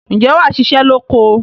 ǹjẹ́ wà á ṣiṣẹ́ lóko?